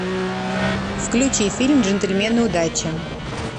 включи фильм джентльмены удачи